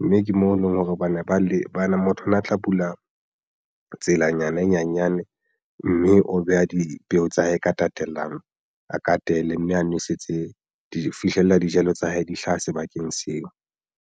Mme ke mo eleng hore hobane ba le bana motho o na tla bula tselanyana e nyanyane mme o beha dipeo tsa hae ka tatellano a katele mme a nwesetse di fihlelle dijalo tsa hae di hlaha sebakeng seo.